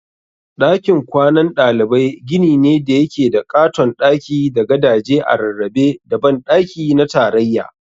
Dakin kwanan ɗalibai gini ne da yake da ƙaton daki da gadaje a rarrabe da banɗaki na tarayya.